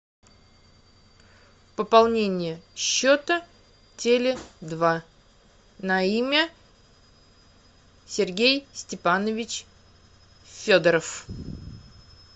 пополнение счета теле два на имя сергей степанович федоров